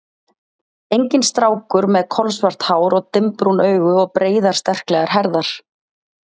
Enginn strákur með kolsvart hár og dimmbrún augu og breiðar, sterklegar herðar.